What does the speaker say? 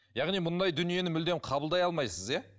яғни мұндай дүниені мүлдем қабылдай алмайсыз иә